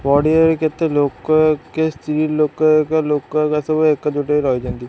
ପଡ଼ିଆ କେତେ ଲୋକ କେ ସ୍ତ୍ରୀଲୋକ ଏଇକା ଲୋକ ଏଇକା ସବୁ ଏକଜୁଟ ହେଇ ରହିଚନ୍ତି।